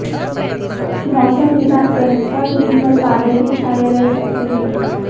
मौसम विभाग के अनुसार दिनभर बादल भी छाए रह सकते हैं